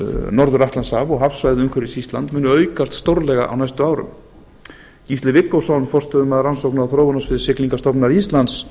norður atlantshaf og hafsvæðið umhverfis ísland munu aukast stórlega á næstu árum gísli viggósson forstöðumaður rannsókna og þróunarsviðs siglingastofnunar íslands